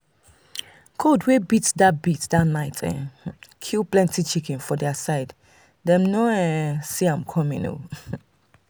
cold wey beat that beat that night um kill plenty chicken for their side dem no um see am coming. um